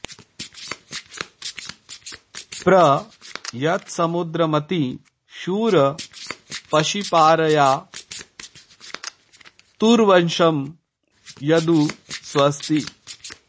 प्र यत्स॑मु॒द्रमति॑ शूर॒ पर्षि॑ पा॒रया॑ तु॒र्वशं॒ यदुं॑ स्व॒स्ति